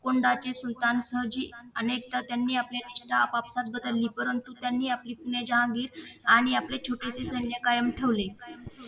कुंडाचे सुलतान सहजी अनेकदा त्यांनी आपली निष्ठा अनेकदा आपापसात बदलली परंतु त्यांनी आपली पुणे जहांगीर आणि आपले छोटेशे सैन्य कायम ठेवले